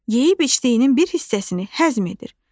Yeyib içdiyinin bir hissəsini həzm edir.